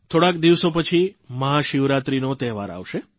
થોડાક દિવસો પછી મહાશિવરાત્રીનો તહેવાર આવશે